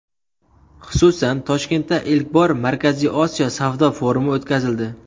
Xususan, Toshkentda ilk bor Markaziy Osiyo savdo forumi o‘tkazildi.